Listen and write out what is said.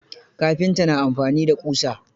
Kafinta na amfani da ƙusa.